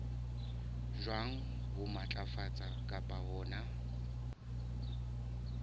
jwang ho matlafatsa kapa hona